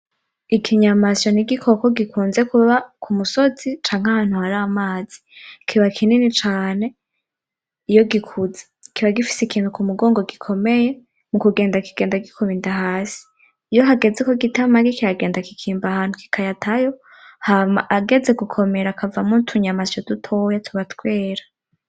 Ikinyamasyo n'igikoko gikunze kuba ku musozi canke ahantu hari amazi, kiba kinini cane iyo gikuze. Kiba gifise ikintu ku mugongo gikomeye, mu kugenda kigenda gikuba inda hasi. Iyo hageze ko gita amagi kiragenda kikimba ahantu kikayatayo, hama ageze gukomera akavamo utunyamasyo dutoya tuba twera.